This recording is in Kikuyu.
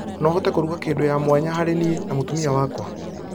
no ũhote kũruga kĩndũ ya mwanya harĩ niĩ na mũtumia wakwa